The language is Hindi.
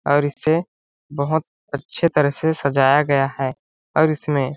और इसे बहोत अच्छे तरह से सजाया गया है और इसमें--